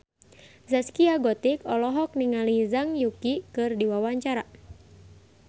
Zaskia Gotik olohok ningali Zhang Yuqi keur diwawancara